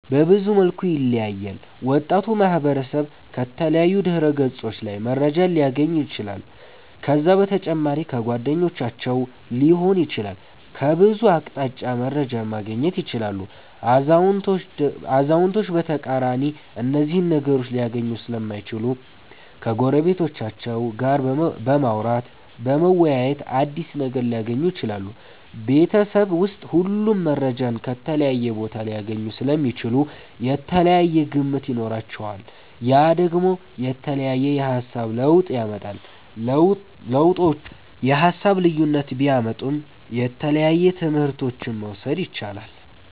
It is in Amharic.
በብዙ መልኩ ይለያያል ወጣቱ ማህበረሰብ ከተለያዩ ድህረ ገፆች ላይ መረጃን ሊያገኝ ይችላል ከዛ በተጨማሪ ከጓደኞቻቸዉ ሊሆን ይችላል ከብዙ አቅጣጫ መረጃን ማገኘት ይችላሉ አዛዉነቶች በተቃራኒ እነዚህን ነገሮች ሊያገኙ ሰለማይችሉ ከጎረቤቶቻቸዉ ጋር በማዉራተ በመወያየት አዲስ ነገር ሊያገኙ ይችላሉ። ቤበተሰብ ዉስጥ ሁሉም መረጃን ከተለያየ ቦታ ሊያገኙ ሰለሚችሉ የተለያየ ግምት ይኖራቸዋል ያ ደግሞ የተለያየ የሃሳብ ለዉጥ ያመጣል። ለዉጦቹ የሃሳብ ልዩነት ቢያመጡም የተለያየ ትምህረቶችን መዉሰድ የቻላል